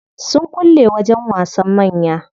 Sun kulle wajen wasan manya.